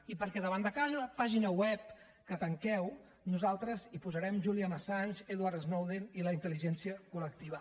i perquè davant de cada pàgina web que tanqueu nosaltres hi posarem julian assange edward snowden i la intel·ligència col·lectiva